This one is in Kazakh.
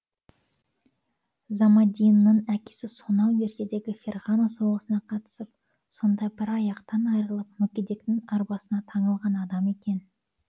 замаддинның әкесі сонау ертедегі ферғана соғысына қатысып содан бір аяқтан айырылып мүгедектің арбасына таңылған адам екен